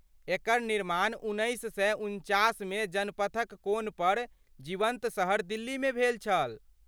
एकर निर्माण उन्नैस सए उनचासमे जनपथक कोनपर जीवन्त शहर दिल्लीमे भेल छल।